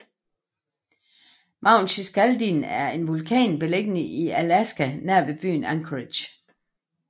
Mount Shiskaldin er en vulkan beliggende i Alaska nær byen Anchorage